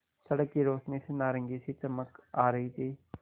सड़क की रोशनी से नारंगी सी चमक आ रही थी